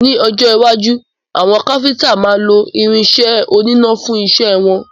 Ní ọjọ́ iwájú, àwọn Káfíntà máa nílo irin isẹ́ oníná fún isẹ́ wọn.